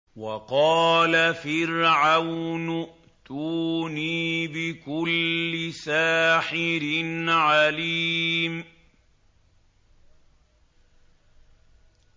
وَقَالَ فِرْعَوْنُ ائْتُونِي بِكُلِّ سَاحِرٍ عَلِيمٍ